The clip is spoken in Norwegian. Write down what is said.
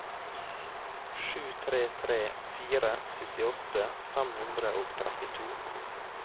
sju tre tre fire syttiåtte fem hundre og trettito